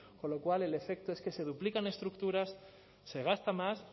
con lo cual el efecto es que se duplican estructuras se gasta más